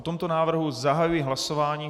O tomto návrhu zahajuji hlasování.